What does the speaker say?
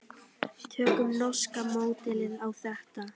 Tökum norska módelið á þetta.